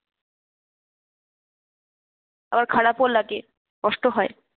আবার খারাপও লাগে, কষ্ট হয়।